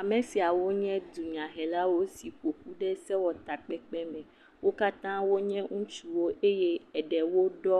Ame siawo nye dunyahelawo si ƒoƒu ɖe sewɔtakpekpe me. Wo katã wo nye ŋutsuwo eye eɖewo ɖɔ